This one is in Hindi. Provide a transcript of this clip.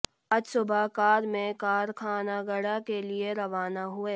आज सुबह कार में कारखानागड्डा के लिए रवाना हुए